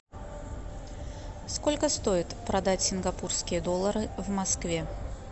сколько стоит продать сингапурские доллары в москве